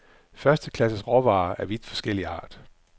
Første klasses råvarer af vidt forskellig art.